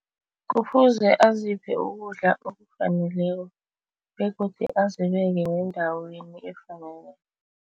Kufuze aziphe ukudla okufaneleko begodu azibeke nendaweni efaneleko.